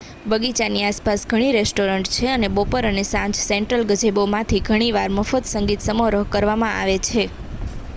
બગીચાની આસપાસ ઘણી રેસ્ટોરાં છે અને બપોર અને સાંજે સેન્ટ્રલ ગેઝેબોમાંથી ઘણી વાર મફત સંગીત સમારોહ કરવામાં આવે છે